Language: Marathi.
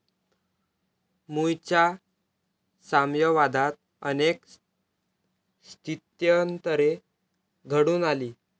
मुळच्या साम्यवादात अनेक स्थित्यंतरे घडून आली.